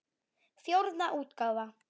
Fjórða útgáfa.